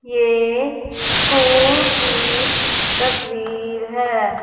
ये स्कूल की तस्वीर है।